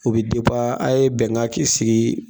O bɛ a' ye bɛnkan kisi